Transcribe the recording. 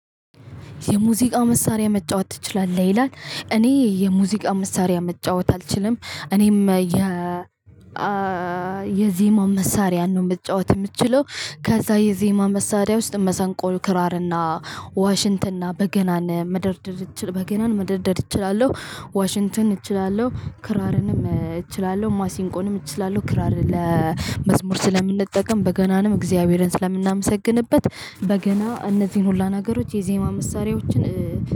የሙዚቃ መሳሪያ መጫወት ትችላለህ ይላል እኔ የሙዚቃ መሳሪያ መጫወት አልችልም እኔም የ የዜማ መሳሪያ ነው የምትጫወት የምትችለው። ከዛ የዜማ መሳሪያ ውስጥ መሰንቆ ን ክራርና ዋሽንትና በገናን መደርደር በገናን መደርደር እችላለሁ ዋሽንተን እችላለሁ ክራርንም እችላለሁ ማሲንቆንም እችላለሁ ክራር ለመዝሙር ስለምንጠቀም በገናንም እግዚአብሔርን ስለምናመሰግንበት። በገና እነዚህን ሁላ ነገሮች የዜማ መሳሪያዎችን።